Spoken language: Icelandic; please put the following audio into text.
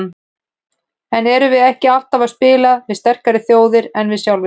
En erum við ekki alltaf að spila við sterkari þjóðir en við sjálfir?